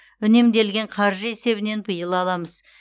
үнемделген қаржы есебінен биыл аламыз